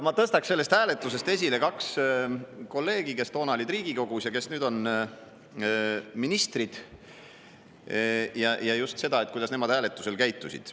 Ma tõstaksin selle hääletuse puhul esile kaks kolleegi, kes toona olid Riigikogus, aga nüüd on ministrid, ja, kuidas nemad hääletusel käitusid.